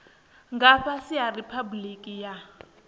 nga fhasi ha riphabuliki ya